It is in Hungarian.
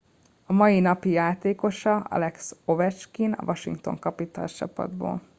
a mai napi játékosa alex ovechkin a washington capitals csapatból